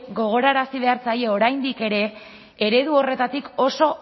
gogorarazi behar zaie oraindik ere eredu horretatik oso